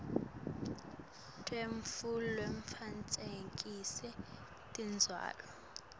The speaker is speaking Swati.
lwetfu lwekutfutfukisa tindzawo